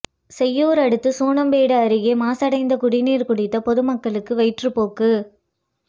செய்யூர் அடுத்த சூனாம்பேடு அருகே மாசடைந்த குடிநீர் குடித்த பொதுமக்களுக்கு வயிற்றுப்போக்கு